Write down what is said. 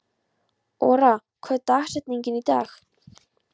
Ora, hver er dagsetningin í dag?